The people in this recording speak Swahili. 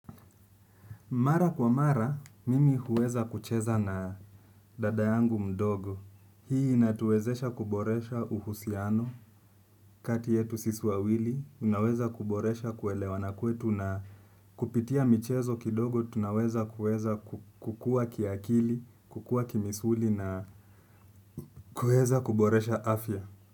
Mara kwa mara, mimi huweza kucheza na dada yangu mdogo. Hii inatuwezesha kuboresha uhusiano, kati yetu sisi wawili, unaweza kuboresha kuelewa. Nakwetu na kupitia michezo kidogo, tunaweza kukua kiakili, kukua kimisuli na kuweza kuboresha afya.